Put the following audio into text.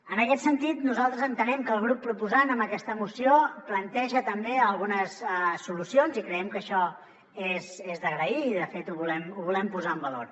en aquest sentit nosaltres entenem que el grup proposant amb aquesta moció planteja també algunes solucions i creiem que això és d’agrair i de fet ho volem posar en valor